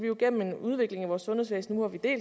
jo en udvikling i vores sundhedsvæsen nu hvor vi